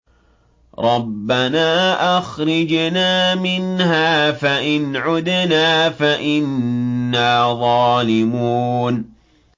رَبَّنَا أَخْرِجْنَا مِنْهَا فَإِنْ عُدْنَا فَإِنَّا ظَالِمُونَ